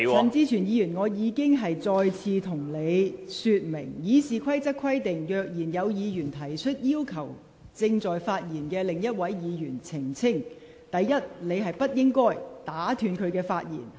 陳志全議員，我已一再向你說明，《議事規則》規定，如議員擬要求正在發言的另一位議員澄清其發言內容，第一，他不得打斷該位議員的發言......